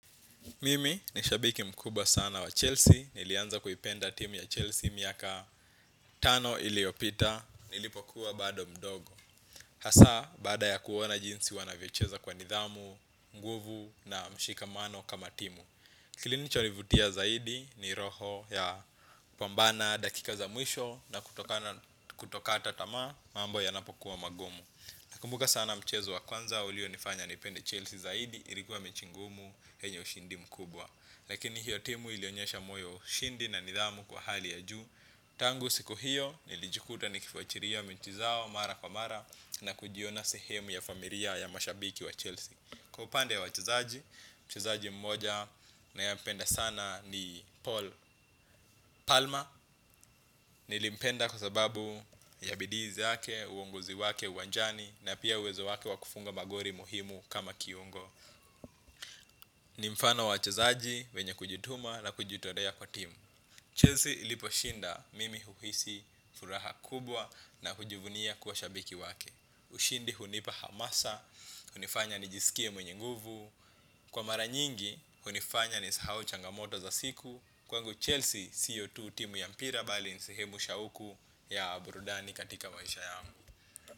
Mimi, nishabiki mkubwa sana wa Chelsea, nilianza kuipenda timu ya Chelsea miaka tano iliopita, nilipokuwa bado mdogo. Hasa, baada ya kuona jinsi wanavyocheza kwa nidhamu, nguvu na mshikamano kama timu. Kilinicho ni vutia zaidi ni roho ya kupambana dakika za mwisho na kutokata tamaa, mambo ya napokuwa magumu. Nakumbuka sana mchezo wa kwanza, ulio nifanya nipende Chelsea zaidi, ilikuwa mechi ngumu, yenye ushindi mkubwa. Lakini hiyo timu ilionyesha moyo wa ushindi na nidhamu kwa hali ya juu. Tangu siku hiyo, nilijukuta ni kifuatilia mechi zao mara kwa mara na kujiona sehemu ya familia ya mashabiki wa Chelsea. Kwa upande wachezaji, mchezaji mmoja ninae mpenda sana ni Paul. Palma. Nilimpenda kwa sababu ya bidii zake, uongozi wake, uwanjani na pia uwezo wake wa kufunga magoli muhimu kama kiungo. Nimfano wa wachezaji, wenye kujituma na kujitolea kwa timu. Chelsea ilipo shinda mimi uhisi furaha kubwa na kujivunia kuwa shabiki wake. Ushindi hunipa hamasa, hunifanya nijisikie mwenye nguvu. Kwa mara nyingi, hunifanya nisahau changamoto za siku. Kwangu Chelsea, sio tu timu ya mpira bali ni sehemu shauku ya burudani katika maisha yangu.